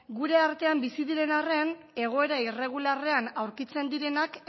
gure artean bizi diren arren egoera irregularrean aurkitzen direnak